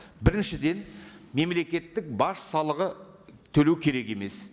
біріншіден мемлекеттік баж салығы төлеу керек емес